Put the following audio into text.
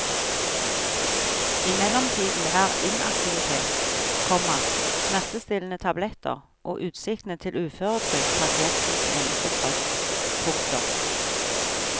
I mellomtiden er inaktivitet, komma smertestillende tabletter og utsiktene til uføretrygd pasientenes eneste trøst. punktum